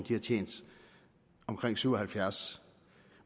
har tjent omkring syv og halvfjerds